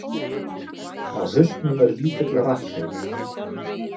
Á hausnum er lítill rafsegull.